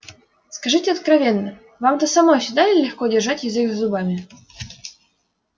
скажите откровенно вам-то самой всегда ли легко держать язык за зубами